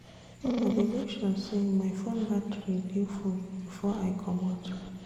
I dey make sure sey my fone battery dey full before I comot.